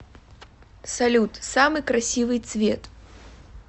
салют самый красивый цвет